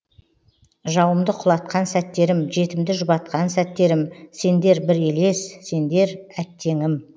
жауымды құлатқан сәттерім жетімді жұбатқан сәттерім сендер бір елес сендер әттеңім